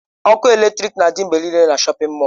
Ọkụ eletrik na-adị mgbe niile na shọpin mọll.